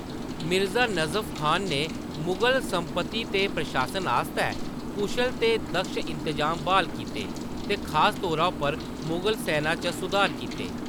मिर्जा नजफ खान ने मुगल संपत्ति ते प्रशासन आस्तै कुशल ते दक्ष इंतजाम ब्हाल कीते ते खास तौरा पर मुगल सैना च सुधार कीते।